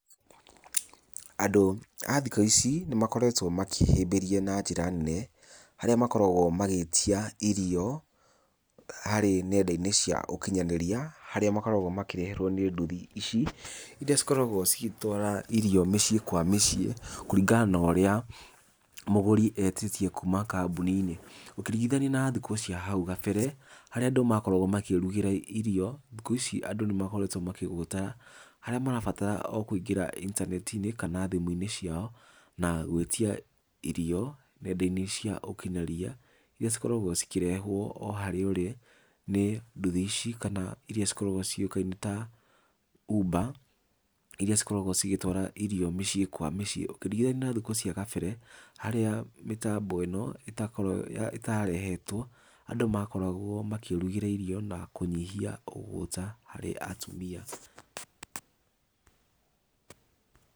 Andũ a thikũ ici nĩmakoretwo makĩhĩmbĩria na njĩra nene harĩa makoragwo magĩtia irio harĩ nendainĩ cia ũkinyanĩria, harĩa makoragwo makĩreherwo nĩ ndũthi ici iria igĩkoragwo cigĩtwara irio mĩciĩ kwa mĩciĩ kũringana na ũrĩa mũgũri etĩtie kuma kambuni-inĩ. Ũkĩringithania na thikũ cia hau gabere harĩa andũ makoragwo makĩrugĩra irio. Thikũ ici andũ nĩmakoretwo makĩgũtara harĩa marabatara o kũingĩra intaneti-inĩ kana thimũinĩ ciao, na gwĩtia irio nendainĩ cia ũkinyanĩria, iria igĩkoragwo ikĩrehwo o harĩa ũrĩ nĩ ndũthi ici kana iria cigĩkoragwo cigĩũka ta uber iria cigĩkoragwo cigĩtwara irio mĩciĩ kwa mĩciĩ. Ũkĩringithania na thikũ cia kabere harĩa mĩtambo ĩno ĩtarehetwo andũ makoagwo makĩĩrugĩra irio na makanyihia ũgũta harĩ atumia.